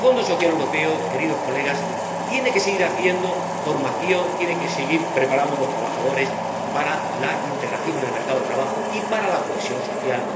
Porque el Fondo Social Europeo, queridos colegas, tiene que seguir haciendo formación, tiene que seguir preparando a los trabajadores para la integración en el mercado de trabajo y para la cohesión social